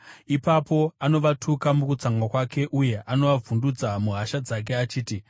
Ipapo anovatuka mukutsamwa kwake uye anovavhundutsa muhasha dzake, achiti,